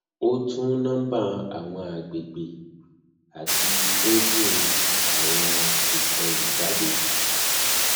o tun i nomba awọn agbegbe ati scraping awọn ikolu jade